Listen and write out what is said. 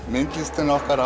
myndlistin okkar